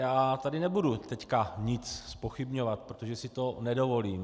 Já tady nebudu teď nic zpochybňovat, protože si to nedovolím.